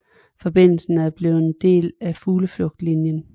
Forbindelsen vil blive en del af Fugleflugtslinjen